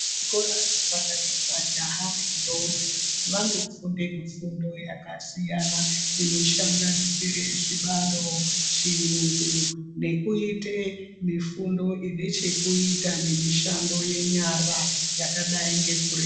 Zvikora zvepakati majaha nendombi vanofunde mifundo yakasiyana inosanganisira zvibalo, chiyungu nekuite mifundo inechekuita nemishando yenyara yakadai ngeku.